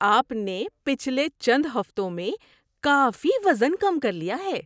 آپ نے پچھلے چند ہفتوں میں کافی وزن کم کر لیا ہے!